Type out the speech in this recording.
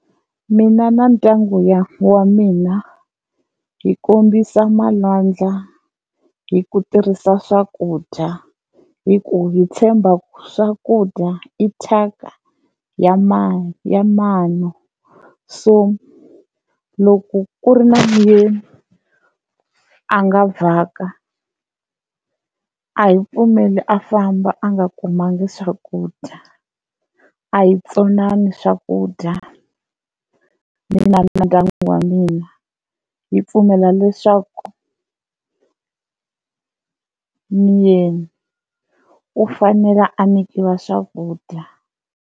Mina na ndyangu ya wa mina hi kombisa malwandla hi ku tirhisa swakudya hi ku hi tshemba ku swakudya i thyaka ya ya mano, so loko ku ri na muyeni a nga vhaka, a hi pfumeli a famba a nga kumangi swakudya, a hi tsonani swakudya mina na ndyangu wa mina hi pfumela leswaku ni yena u fanela a nyikiwa swakudya.